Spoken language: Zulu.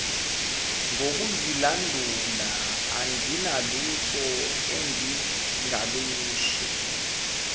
ngokuzilandula anginalutho engingalusho